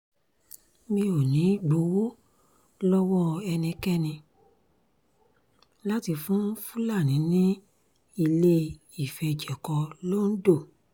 mi ò ní í gbowó lọ́wọ́ ẹnikẹ́ni láti fún fúlàní ní ilé ìfẹ̀jẹ̀kọ londo